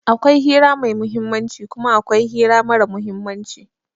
Akwai hira mai muhimmanci kuma akwai hira mara muhimmanci.